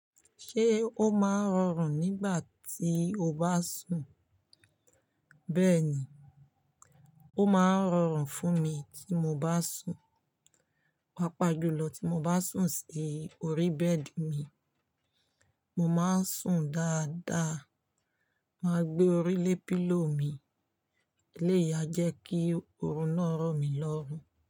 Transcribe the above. Ṣé ó máa ń rọrùn nígbà tí o bá sùn? Bẹ́ẹ̀ni, ó máa ń rọrùn fún mi tí mo bá sùn. Pápá jùlọ tí mo bá sùn sí orí bẹ́ẹ̀dì mi, mo máa ń sùn dáadáa. Máa gbé orí lé pílò mi. Eléyà jẹ́ kí oorun náà rọ̀ mí lọ́rùn.